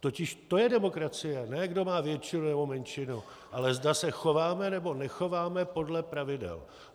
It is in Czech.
Totiž to je demokracie, ne kdo má většinu nebo menšinu, ale zda se chováme, nebo nechováme podle pravidel.